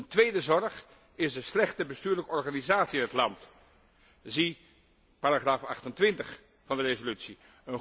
Een tweede zorg is de slechte bestuurlijke organisatie in het land, zie paragraaf 28 van de resolutie.